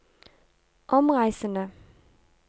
omreisende